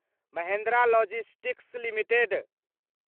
Mahindra logistics limited